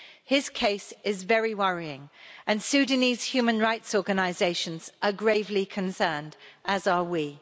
His case is very worrying and Sudanese human rights organisations are gravely concerned, as are we.